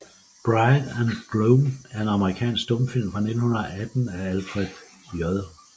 Bride and Gloom er en amerikansk stumfilm fra 1918 af Alfred J